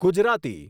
Gujarati